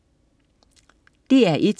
DR1: